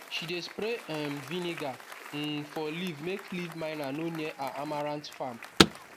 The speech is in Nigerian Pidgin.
she dey spray um vinegar um for leaf make leaf miner no near her amaranth farm